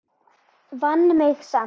Vann mig samt.